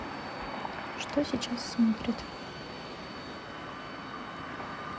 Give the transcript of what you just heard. что сейчас смотрят